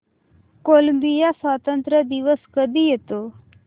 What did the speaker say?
Colombia स्वातंत्र्य दिवस कधी येतो